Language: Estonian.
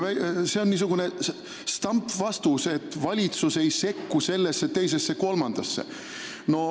See on niisugune stampvastus, et valitsus ei sekku sellesse, teisesse ega kolmandasse.